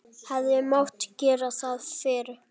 Hefði mátt gera það fyrr?